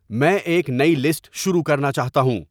میں ایک نئی لسٹ شروع کرنا چاہتا ہوں